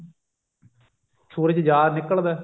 ਸੂਰਜ ਜਾ ਨਿਕਲਦਾ